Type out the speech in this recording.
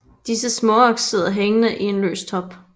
Disse småaks sidder hængende i en løs top